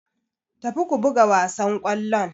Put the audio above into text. Tafi ku buga wassan kollon.